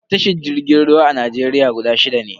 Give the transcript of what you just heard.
Tashar jirgin ruwa a Najeriya guda shida ne.